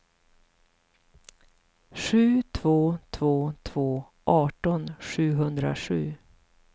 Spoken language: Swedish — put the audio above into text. sju två två två arton sjuhundrasju